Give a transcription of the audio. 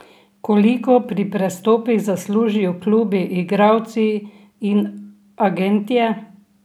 Koliko pri prestopih zaslužijo klubi, igralci in agentje?